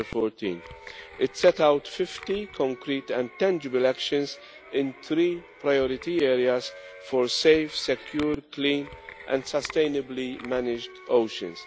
14. It sets out 50 concrete and tangible actions in three priority areas for safe, secure, clean and sustainably managed oceans.